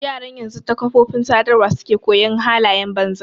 Yaran yanzu ta kafofin sadarwa suke koyon halayen banza.